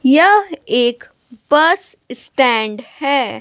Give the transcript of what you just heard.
यह एक bus stand है।